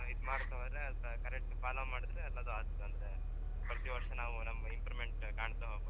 ಇದ್ ಮಾಡ್ಕೊಂಡ್ ಹೊರ್ರೆ correct follow ಮಾಡಿದ್ರೆ ಎಲ್ಲದು ಅತ್ತ್ ಅಂದ್ರೆ ಪ್ರತಿ ವರ್ಷ ನಮ್ದು improvement ಕಾಣ್ತ ಹೋಗಬಹುದ್.